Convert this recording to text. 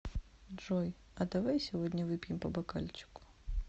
джой а давай сегодня выпьем по бокальчику